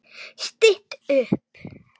Stytt upp